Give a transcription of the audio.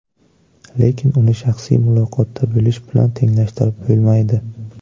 Lekin uni shaxsiy muloqotda bo‘lish bilan tenglashtirib bo‘lmaydi.